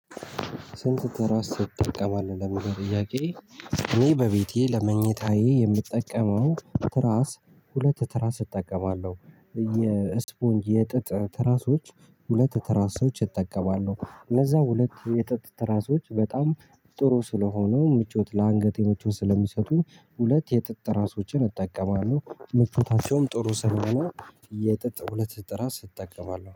ስንት ትራስ ትጠቀማለህ ለሚለው ጥያቄ? እኔ በቤቴ ለመኝታዬ የምጠቀመው ትራስ ሁለት ትራስ እጠቀማለሁ የእስፖንጅ የጥጥ ትራሶች ሁለት ትራሶች እጠቀማለሁ። እነዛ ሁለት የጠጥ ትራሶች በጣም ጥሩ ስለሆነው ምቾት ለአንገቴ ምቾት ስለሚሰጡኝ ሁለት የጥጥ ትራሶችን እጠቀማለሁ። ምቾታቸውም ጥሩ ስለሆነ የጥጥ ሁለት ትራስ እጠቀማለሁ